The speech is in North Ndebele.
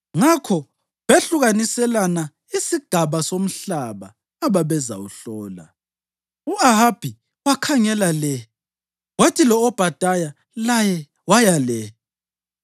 Ngakho behlukaniselana isigaba somhlaba ababezawuhlola. U-Ahabi wakhangela le kwathi lo-Obhadaya laye waya le.